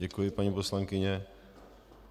Děkuji, paní poslankyně.